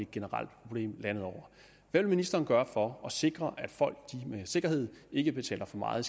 generelt problem landet over hvad vil ministeren gøre for at sikre at folk med sikkerhed ikke betaler for meget